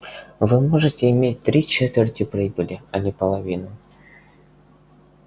вы можете иметь три четверти прибыли а не половину